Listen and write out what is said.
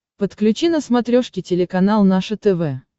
подключи на смотрешке телеканал наше тв